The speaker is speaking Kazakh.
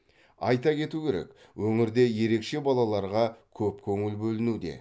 айта кету керек өңірде ерекше балаларға көп көңіл бөлінуде